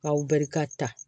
K'aw bɛri ka ta